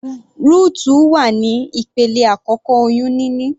Rutu wà ní ìpele àkọ́kọ́ oyún níní.